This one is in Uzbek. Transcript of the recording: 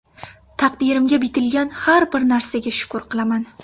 Taqdirimga bitilgan har bir narsaga shukr qilaman.